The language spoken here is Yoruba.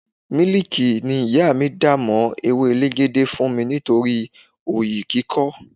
Miliki ni ìyá mi dà mó ewé elegede fún mi nítorí oyi kíkọ́.